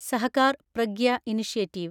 Sahakar Pragya initiative